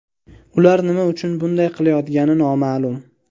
Ular nima uchun bunday qilayotgani noma’lum.